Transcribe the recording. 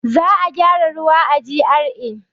Za a gyara ruwa a GRA.